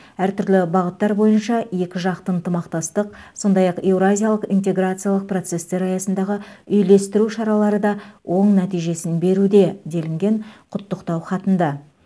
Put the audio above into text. әртүрлі бағыттар бойынша екіжақты ынтымақтастық сондай ақ еуразиялық интеграциялық процестер аясындағы үйлестіру шаралары да оң нәтижесін беруде делінген құттықтау хатында